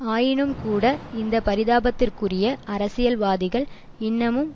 ஆயினும்கூட இந்த பரிதாபத்திற்குரிய அரசியல் வாதிகள் இன்னமும்